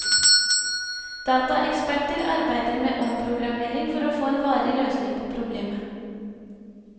Dataeksperter arbeider med omprogrammering for å få en varig løsning på problemet.